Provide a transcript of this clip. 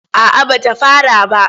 A'a ba ta fara ba.